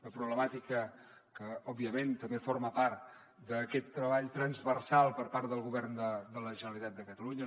una problemàtica que òbviament també forma part d’aquest treball transversal per part del govern de la generalitat de catalunya